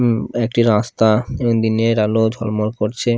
উম একটা রাস্তা দিনের আলো ঝলমল করছে ।